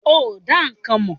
Ó dá nǹkan mọ̀.